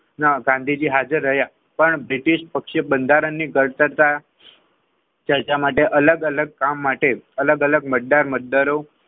માં ગાંધીજી હાજર રહ્યા પણ બ્રિટિશ પક્ષીય બંધારણીય ઘડતા માટે અલગ અલગ કામ માટે મજેદાર મજદારો.